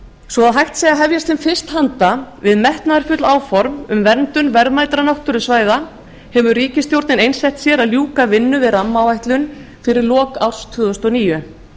svo að hægt verði að hefjast sem fyrst handa um metnaðarfull áform um verndun verðmætra náttúrusvæða hefur ríkisstjórnin einsett sér að ljúka vinnu við rammaáætlun fyrir lok árs tvö þúsund og níu